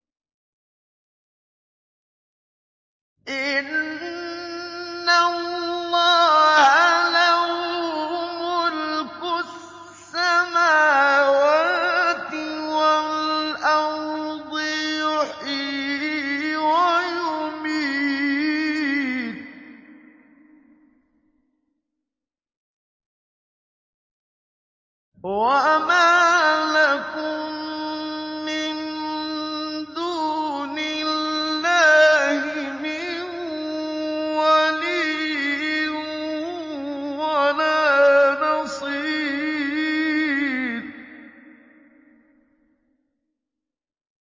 إِنَّ اللَّهَ لَهُ مُلْكُ السَّمَاوَاتِ وَالْأَرْضِ ۖ يُحْيِي وَيُمِيتُ ۚ وَمَا لَكُم مِّن دُونِ اللَّهِ مِن وَلِيٍّ وَلَا نَصِيرٍ